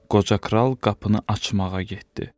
Qoca kral qapını açmağa getdi.